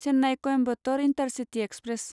Chennai Coimbatore intercity express